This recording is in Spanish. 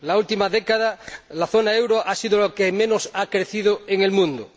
En la última década la zona del euro ha sido la que menos ha crecido en el mundo.